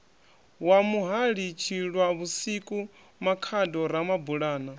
wa muhali tshilwavhusiku makhado ramabulana